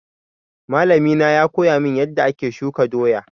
Malami na ya koya min yanda ake shuka doya